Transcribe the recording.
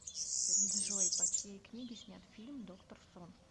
джой по чьеи книге снят фильм доктор сон